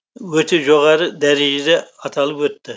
өте жоғарғы дәрежеде аталып өтті